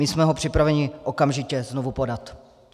My jsme ho připraveni okamžitě znovu podat.